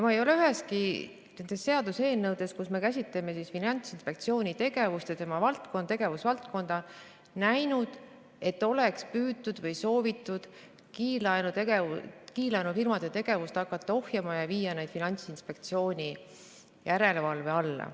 Ma ei ole üheski nendest seaduseelnõudest, kus me käsitleme Finantsinspektsiooni tegevust ja tema tegevusvaldkonda, näinud, et oleks püütud või soovitud hakata kiirlaenufirmade tegevust ohjama ja viia need Finantsinspektsiooni järelevalve alla.